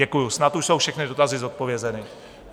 Děkuji, snad už jsou všechny dotazy zodpovězeny.